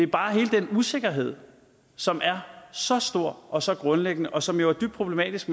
bare hele den usikkerhed som er så stor og så grundlæggende og som er dybt problematisk